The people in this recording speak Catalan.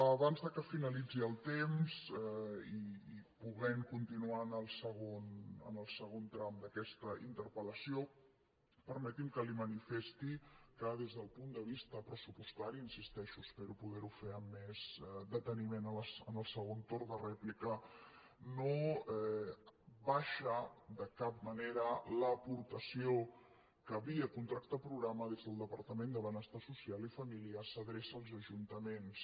abans que finalitzi el temps i podent continuar en el segon tram d’aquesta interpel·lació permeti’m que li manifesti que des del punt de vista pressupostari hi insisteixo espero poder ho fer amb més deteniment en el segon torn de rèplica no baixa de cap manera l’aportació que via contracte programa des del departament de benestar social i família s’adreça als ajuntaments